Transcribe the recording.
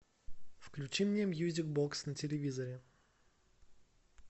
включи мне мьюзик бокс на телевизоре